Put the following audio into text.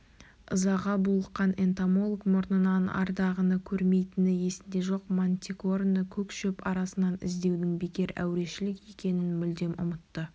ызаға булыққан энтомолог мұрнынан арыдағыны көрмейтіні есінде жоқ мантикораны көк шөп арасынан іздеудің бекер әурешілік екенін мүлдем ұмытты